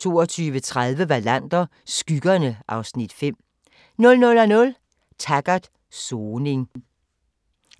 22:30: Wallander: Skyggerne (Afs. 5) 00:00: Taggart: Soning